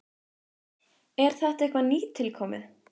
Er þetta eitthvað nýtilkomið?